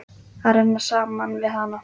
Að renna saman við hana.